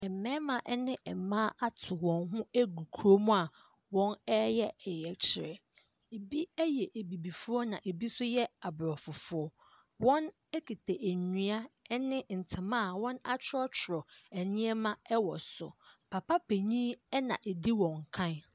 Mmarima ne mmaa ato wɔn ho agu kurom a wɔreyɛ ɔyɛkyerɛ. Ebi yɛ abibifoɔ na ebi nso yɛ aborɔfofoɔ. Wɔkuta nnua ne ntama a wɔatwerɛtwerɛ nneɛma wɔ so. Papa panin na ɔdi wɔn kan.